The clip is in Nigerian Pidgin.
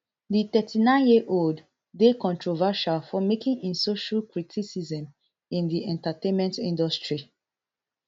di thirty-nineyearold dey controversial for making im social criticism in di entertainment industry